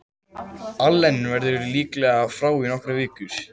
Allen verður líklega frá í nokkrar vikur.